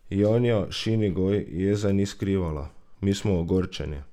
Janja Šinigoj jeze ni skrivala: "Mi smo ogorčeni!